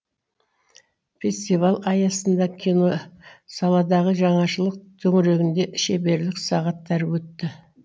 фестиваль аясында киносаладағы жаңашылық төңірегінде шеберлік сағаттары өтті